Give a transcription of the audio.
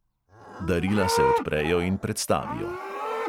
Darila se odprejo in predstavijo.